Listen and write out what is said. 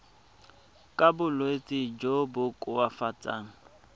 ka bolwetsi jo bo koafatsang